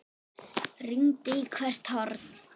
Rýndi í hvert horn.